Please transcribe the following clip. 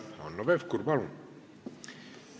Hanno Pevkur, palun!